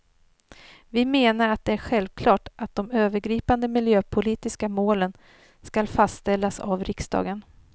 Vi menar att det är självklart att de övergripande miljöpolitiska målen skall fastställas av riksdagen.